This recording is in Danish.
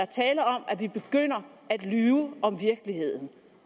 tale om at vi begynder at lyve om virkeligheden